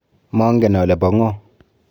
Mangen ale po ng'o.